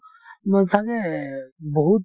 ছাগে বহুত